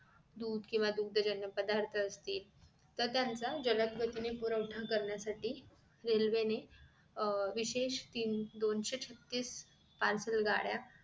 दूध केंव्हा दुग्धजन्य पदार्थ असतील तर त्यांचा जलद गतीने पुरवठा करण्यासाठी रेल्वेने अह विशेष तीन~ दोनशे छत्तीस parcel गाड्या